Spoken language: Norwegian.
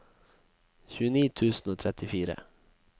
tjueni tusen og trettifire